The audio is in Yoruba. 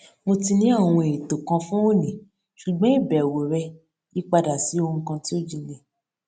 mo ti ní àwọn ètò kan fún òní ṣùgbọn ìbẹwò rẹ yí padà sí ohun kan tí ó jinlè